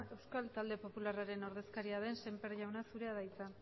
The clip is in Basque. euskal talde popularraren ordezkaria den semper jauna zurea da hitza